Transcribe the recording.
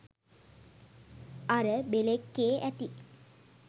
අර බෙළෙක්කෙ ඇති